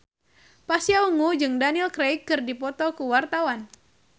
Pasha Ungu jeung Daniel Craig keur dipoto ku wartawan